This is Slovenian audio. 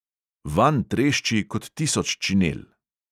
Vanj trešči kot tisoč činel.